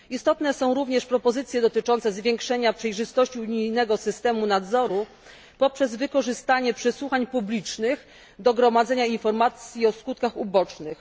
Istotne są również propozycje dotyczące zwiększenia przejrzystości unijnego systemu nadzoru poprzez wykorzystanie przesłuchań publicznych do gromadzenia informacji o skutkach ubocznych.